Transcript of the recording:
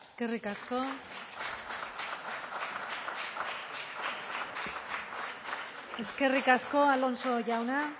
eskerrik asko eskerrik asko alonso jauna